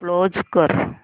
close कर